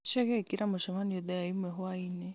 chege ĩkĩra mũcemanio thaa ĩmwe hwaĩ-inĩ